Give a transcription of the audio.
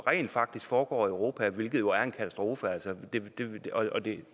rent faktisk foregår i europa hvilket jo er en katastrofe og